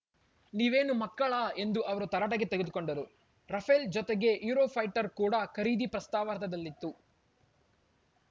ನೀವೇನು ಮಕ್ಕಳಾ ಎಂದು ಅವರು ತರಾಟೆಗೆ ತೆಗೆದುಕೊಂಡರು ರಫೇಲ್‌ ಜತೆಗೆ ಯುರೋಫೈಟರ್‌ ಕೂಡ ಖರೀದಿ ಪ್ರಸ್ತಾ ವಾರ್ತದಲ್ಲಿತ್ತು